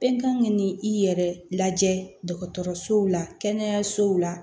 Bɛɛ kan k'i i yɛrɛ lajɛ dɔgɔtɔrɔsow la kɛnɛyasow la